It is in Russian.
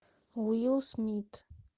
уилл смит